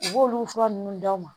U b'olu fura nunnu d'aw ma